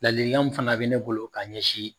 Ladilikan min fana bɛ ne bolo k'a ɲɛsin